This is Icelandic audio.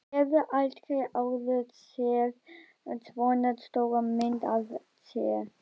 Hefur aldrei áður séð svona stóra mynd af sér.